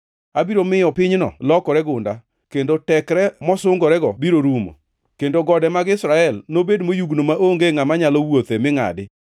Abiro miyo pinyno lokore gunda, kendo tekre mosungorego biro rumo, kendo gode mag Israel nobed moyugno maonge ngʼama nyalo wuothe mi ngʼadi.